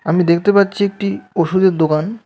আমি দেখতে পাচ্ছি একটি ওষুধের দোকান.